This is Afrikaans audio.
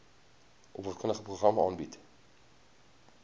opvoedkundige programme aanbied